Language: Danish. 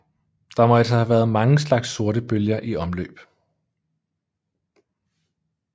Der må altså have været mange slags sortebøger i omløb